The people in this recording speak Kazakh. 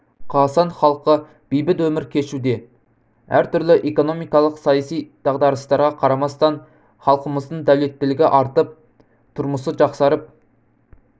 қазақстан халқы бейбіт өмір кешуде әртүрлі экономикалық саяси дағдарыстарға қарамастан халқымыздың дәулеттілігі артып тұрмысы жақсарып